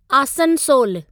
आसनसोलु